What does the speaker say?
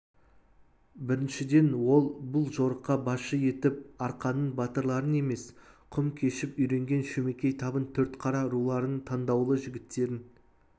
біріншіден ол бұл жорыққа басшы етіп арқаның батырларын емес құм кешіп үйренген шөмекей табын төртқара руларының таңдаулы жігіттерін